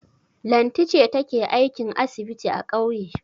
Lanti ce take aikin asibiti a ƙauye.